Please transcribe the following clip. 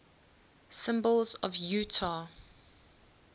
symbols of utah